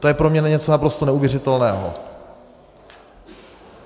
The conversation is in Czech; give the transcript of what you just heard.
To je pro mě něco naprosto neuvěřitelného.